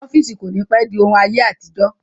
Ọ́fíìsì kò ní pẹ́ di òun ayé àtijọ́